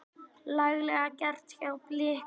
Laglega gert hjá Blikum.